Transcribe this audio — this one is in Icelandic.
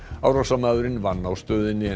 árásarmaðurinn vann á stöðinni